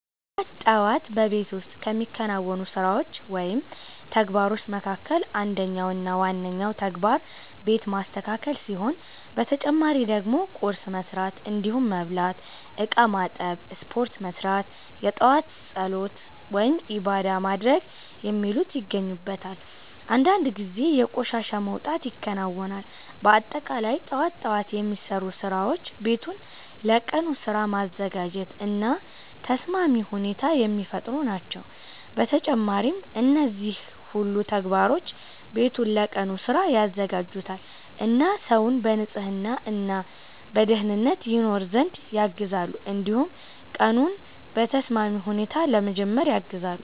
ጠዋት ጠዋት በቤት ውስጥ ከሚከናወኑ ስራዎች ወይም ተግባሮች መካከል አንደኛው እና ዋነኛው ተግባር ቤት ማስተካከል ሲሆን በተጨማሪ ደግሞ ቁርስ መስራት እንዲሁም መብላት፣ እቃ ማጠብ፣ ስፖርት መስራት፣ የጧት ፀሎት(ዒባዳ) ማድረግ የሚሉት ይገኙበታል። አንዳንድ ጊዜ የቆሻሻ መውጣት ይከናወናል። በአጠቃላይ ጠዋት ጠዋት የሚሰሩ ስራዎች ቤቱን ለቀኑ ስራ ማዘጋጀት እና ተስማሚ ሁኔታ የሚፈጥሩ ናቸው። በተጨማሪም እነዚህ ሁሉ ተግባሮች ቤቱን ለቀኑ ስራ ያዘጋጁታል እና ሰውን በንጽህና እና በደኅንነት ይኖር ዘንድ ያግዛሉ። እንዲሁም ቀኑን በተስማሚ ሁኔታ ለመጀመር ያግዛሉ።